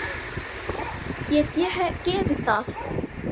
Get ég gefið það?